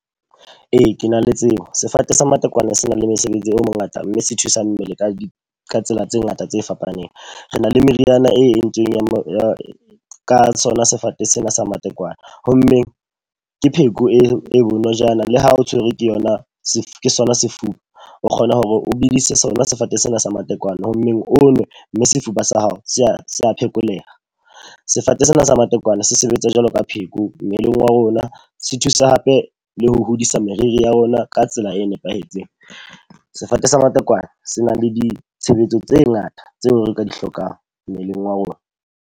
Ee, ke na le tsebo. Sefate sa matekwane se na le mosebetsi o mongata mme se thusa mmele ka tsela tse ngata tse fapaneng. Re na le meriana e entseng ya mo tsona sefate sena sa matekwane. Ho mmeng ke pheko e bonojana le ha o tshwerwe ke yona ke sona sefuba. O kgona hore o bedise sona sefate sena sa matekwane ho mmeng onwe mme sefuba sa hao se a se a phekoleha. Sefate sa matekwane se sebetsa jwalo ka pheko mmeleng wa rona. Se thusa hape le ho hodisa meriri ya rona ka tsela e nepahetseng. Sefate sa matekwane se na le ditshebetso tse ngata tse nka di hlokang mmeleng wa rona.